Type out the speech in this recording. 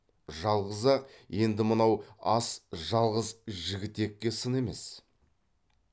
жалғыз ақ енді мынау ас жалғыз жігітекке сын емес